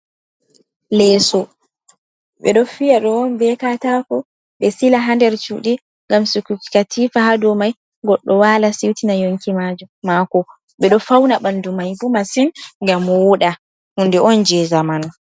Leso ɓeɗo fiya ɗe on bekatako ɓe sila hander cuɗi ngam sigoki kaatifa hadomai goɗɗo wala siwtina yonki mako, ɓeɗo fauna ɓandu mai ɓo masin, ngam woɗa hunde on je zamanu.